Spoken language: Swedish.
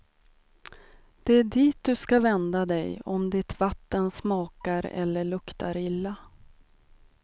Det är dit du ska vända dig om ditt vatten smakar eller luktar illa.